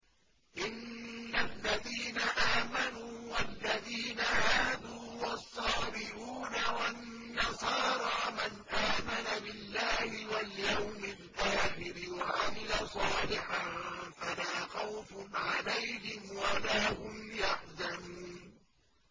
إِنَّ الَّذِينَ آمَنُوا وَالَّذِينَ هَادُوا وَالصَّابِئُونَ وَالنَّصَارَىٰ مَنْ آمَنَ بِاللَّهِ وَالْيَوْمِ الْآخِرِ وَعَمِلَ صَالِحًا فَلَا خَوْفٌ عَلَيْهِمْ وَلَا هُمْ يَحْزَنُونَ